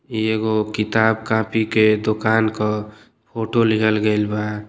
एगो किताब कॉपी के दुकान के फोटो लिहल गइल बा|